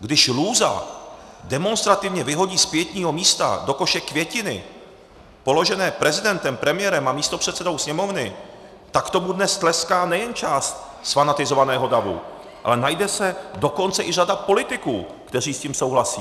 Když lůza demonstrativně vyhodí z pietního místa do koše květiny položené prezidentem, premiérem a místopředsedou Sněmovny, tak tomu dnes tleská nejen část zfanatizovaného davu, ale najde se dokonce i řada politiků, kteří s tím souhlasí.